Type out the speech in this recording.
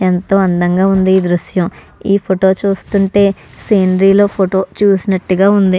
ఎంతో అందంగా ఉంది ఈ దృశ్యం. ఈ ఫోటో చూస్తే సేంద్రియలో ఫోటో చూసినట్టుగా ఉంది.